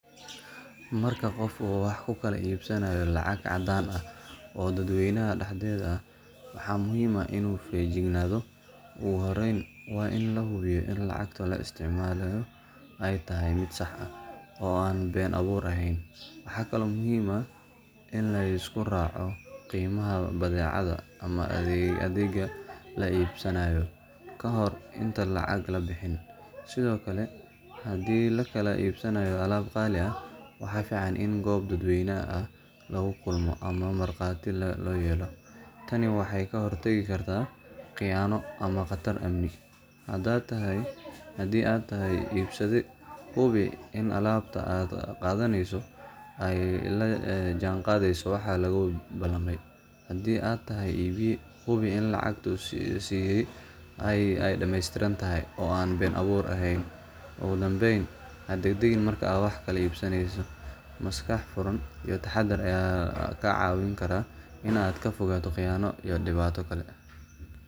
Marka qofka wax kukala ibsanayo lacag cadan ah, oo dad weynaha daxdedha ah waxa muhim ah inu fijiknado, ogu horeyn wa ini lahubiyo ini lacagta laa istacmalayo aay tahahy mid sax ah oo an ben abur ehen waxa kale oo muhim ah ini liskuraco qimaha badecada ama adega laa ibsanayo kahor, inta lacag labixinin sidiokale hadi lakala ibsanayo alab qali ah waxa fican ini gob dad weynaha ah lagu kulmo ama marqati loyelo tani waxay kahortigi karta qiyano ama qatar amni hata tahahy ibsade hubi ini alabta aad qadaneyso aay lajan qadeyso waxa lagu balame, hadi aa tahay ibiye hubi ini lacagta si damestirantahy aan ben abur ehen ogu dambeyn hadegdegin marka aad wax kala ibsaneyso maskax furan iyo daxadar aya kacawini kara inaa aad kafogato qiyano iyo dibata kale.